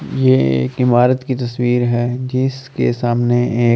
यह एक इमारत की तस्वीर है जिसके सामने एक--